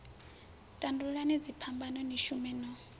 tandululani dziphambano ni shume no